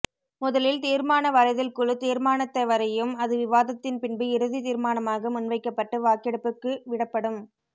முதலில் தீர்மானவரைதல் குழு தீர்மானத்தைவரையும் அது விவாதத்தின் பின்பு இறுதி தீர்மானமாக முன்வைக்கபட்டு வாக்கெடுப்புக்குவிடப்படும்